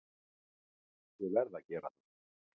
Ég verð að gera það!